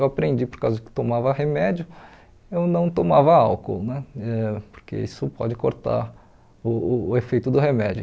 Eu aprendi por causa que tomava remédio, eu não tomava álcool né, eh porque isso pode cortar uh uh o efeito do remédio.